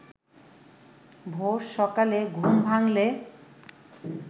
ভোর-সকালে ঘুম ভাঙ্গলে